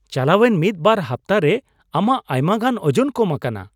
ᱪᱟᱞᱟᱣᱮᱱ ᱢᱤᱫ ᱵᱟᱨ ᱦᱟᱯᱛᱟ ᱨᱮ ᱟᱢᱟᱜ ᱟᱭᱢᱟᱜᱟᱱ ᱳᱡᱚᱱ ᱠᱚᱢ ᱟᱠᱟᱱᱟ !